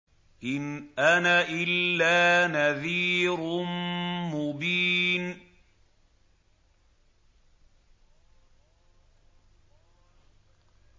إِنْ أَنَا إِلَّا نَذِيرٌ مُّبِينٌ